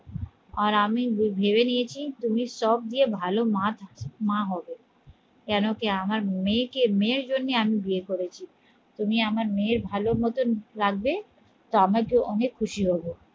আর আমি ভেবে নিয়েছি তুমি সব গিয়ে ভালো মা মা হবে কেন কি আমার মেয়েকে মেয়ের জন্যে আমি বিয়ে করেছি তুমি আমার মেয়েকে ভালো মতন রাখবে তা আমি অনেক খুশি হয়ে যাবো